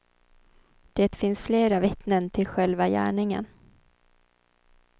Det finns flera vittnen till själva gärningen.